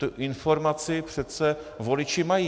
Tu informaci přece voliči mají.